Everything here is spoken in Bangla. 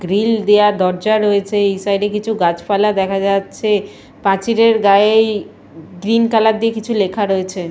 গ্রিল দেওয়া দরজা রয়েছে এই সাইড কিছু গাছপালা দেখা যাচ্ছে পাঁচিলের গায়েই ই গ্রীন কালার দিয়ে কিছু লেখা রয়েছে ।